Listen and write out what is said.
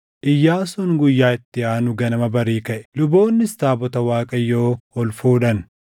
Iyyaasuun guyyaa itti aanu ganama barii kaʼe; luboonnis taabota Waaqayyoo ol fuudhan.